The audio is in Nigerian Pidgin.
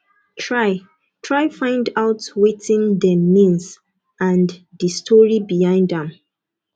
try try find out wetin dem means and di story behind am